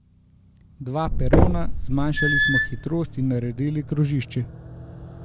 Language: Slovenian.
Dva perona, zmanjšali smo hitrost in naredili krožišče.